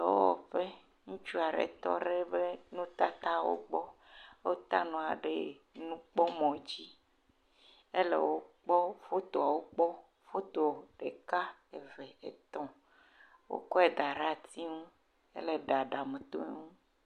Dɔwɔƒe, ŋutsu aɖe tɔ ɖe eƒe nutatatwo gbɔ, wota nuawo ɖe eƒe mɔ dzi, ele wo kpɔm, fotoawo kpɔm, foto ɖeka, eve, etɔ̃. Wokɔe da ɖe ati ŋu, hele ɖaɖa me tom.